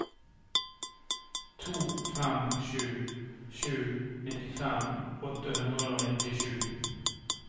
to fem sju sju nittifem åtte hundre og nittisju